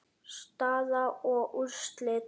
Staða og úrslit